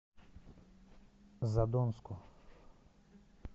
задонску